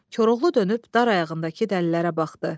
Koroğlu dönüb dar ayağındakı dəlilərə baxdı.